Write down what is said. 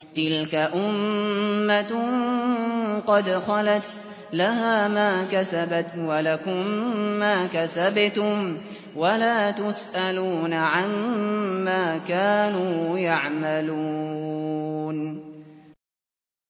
تِلْكَ أُمَّةٌ قَدْ خَلَتْ ۖ لَهَا مَا كَسَبَتْ وَلَكُم مَّا كَسَبْتُمْ ۖ وَلَا تُسْأَلُونَ عَمَّا كَانُوا يَعْمَلُونَ